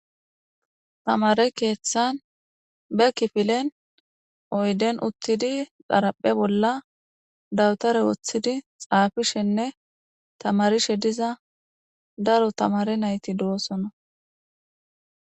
tamare keeththan be kifilen oyden uttidi xaraphe bolla dawutare woththidi xaafishenne tamarishe diza daro tamare nayti doosona